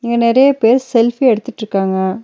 இங்க நெறைய பேர் செல்பி எடுத்துட்டுருக்காங்க.